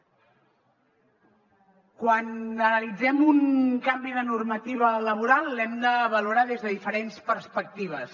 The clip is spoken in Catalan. quan analitzem un canvi de normativa laboral l’hem de valorar des de diferents perspectives